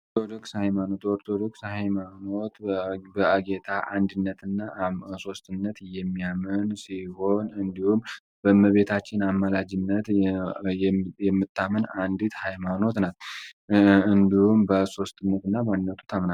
ኦርቶዶክስ ሃይማኖት ኦርቶዶክስ ሃይማኖት በጌታ አንድነት እና ሶስትነት የሚያምን ሲሆን እንዲሁም በመቤታችን አማላጅነት የምታመን አንዲት ሃይማኖት ናት። እንዲሁም በሶስትነቱና ባንድነቱ የምታምን ናት።